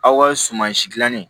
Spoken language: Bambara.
Aw ka sumansi dilanni